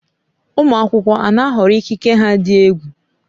Ụmụ akwụkwọ a na-ahọrọ ikike ha dị egwu?